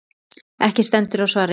Ekki stendur á svari.